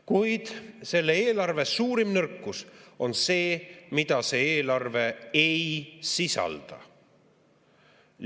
Kuid selle eelarve suurim nõrkus on see, mida see eelarve ei sisalda.